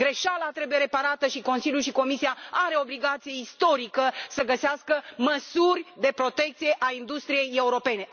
Greșeala trebuie reparată și Consiliul și Comisia au o obligație istorică să găsească măsuri de protecție a industriei europene.